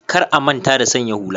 Kar a manta da sanya hula